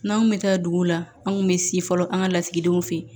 N'an kun bɛ taa duguw la an kun bɛ si fɔlɔ an ka lasigidenw fɛ yen